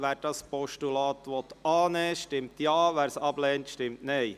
Wer das Postulat annehmen will, stimmt Ja, wer es ablehnt, stimmt Nein.